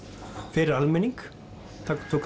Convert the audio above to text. fyrir almenning tók